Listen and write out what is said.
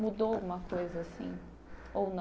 Mudou alguma coisa assim? Ou não